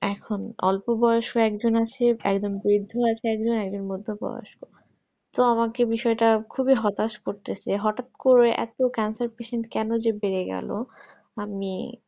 এখন অল্প বয়স্ক ও একজন আছে একজন বৃদ্ধ আছে একজন মধ্যে বয়স্ক তো আমাকে বিষয়টা খুবই হতাশ করতেছে হঠাৎ করে এত cancer কেন যে বেড়ে গেল আমি